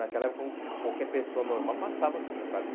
Naquela época como qualquer pessoa normal passava sim, sabe?